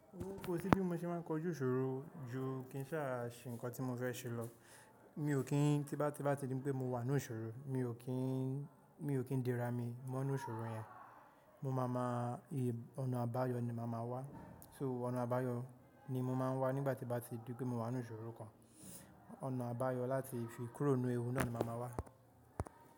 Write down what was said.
Ko sí bí mo ṣe máa ń kojú ìṣòro ju kí n ṣáà ṣe nǹkan tí mo fẹ́ ṣe lọ. Mi ò kí ń, tí bá ti di pé mo wà nínú ìṣòro, mi ò kí ń, mi ò kí ń dera mi mọ́’nú ìṣòro yẹn. Mo máa ma ì, ọ̀nà àbáyọ ni màá ma wá. So ọ̀nà àbáyọ ni mo máa ń wá nígbà tí bá ti di pé mo wà nínú ìṣòro kan. Ọ̀nà àbáyọ láti fi kúrò nínú ewu náà ni màá ma wá.